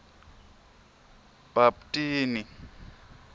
bhaptini